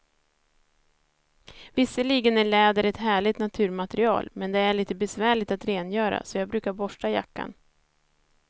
Visserligen är läder ett härligt naturmaterial, men det är lite besvärligt att rengöra, så jag brukar borsta jackan.